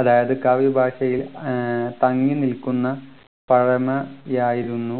അതായത് കാവ്യഭാഷയിൽ ഏർ തങ്ങിനിൽക്കുന്ന പഴമയായിരുന്നു